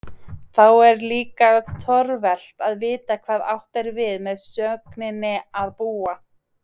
Þá er líka torvelt að vita hvað átt er við með sögninni að búa?